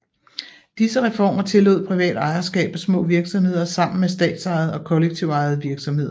Disse reformer tillod privat ejerskab af små virksomheder sammen med statsejede og kollektivt ejede virksomheder